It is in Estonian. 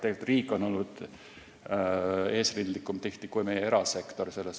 Tegelikult on riik olnud selles valdkonnas tihti eesrindlikum kui meie erasektor.